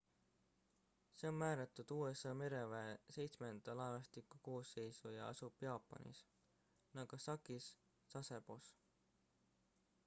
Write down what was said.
see on määratud usa mereväe seitsmenda laevastiku koosseisu ja asub jaapanis nagasakis sasebos